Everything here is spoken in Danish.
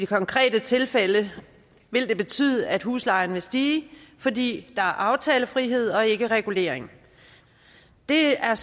konkrete tilfælde vil det betyde at huslejen stiger fordi der er aftalefrihed og ikke regulering det er